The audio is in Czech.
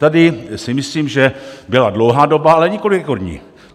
Tady si myslím, že byla dlouhá doba, ale nikoli rekordní.